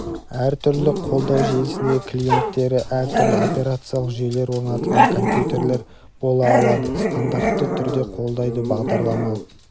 әр түрлі қолдау желісіндегі клиенттері әр түрлі операциялық жүйелер орнатылған компьютерлер бола аладыстандартты түрде қолдайды бағдарламалық